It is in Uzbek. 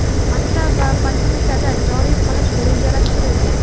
maktab va poliklinikada joriy qilish rejalashtirilgan.